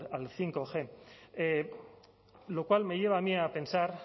al bostg lo cual me lleva a mí a pensar